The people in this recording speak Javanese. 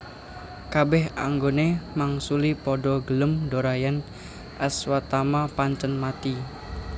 Kabeh anggone mangsuli padha gelem dhora yen Aswatama pancen mati